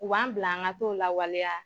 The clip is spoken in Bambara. U b'an bila an ka t'o lawaleya.